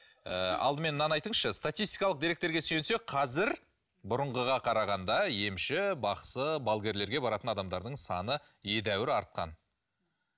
ыыы алдымен мынаны айтыңызшы статистикалық деректерге сүйенсек қазір бұрынғыға қарағанда емші бақсы балгерлерге баратын адамдардың саны едәуір артқан